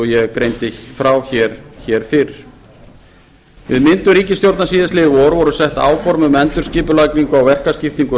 ég greindi frá fyrr við myndun ríkisstjórnar í vor voru sett áform um endurskipulagningu á verkaskiptingu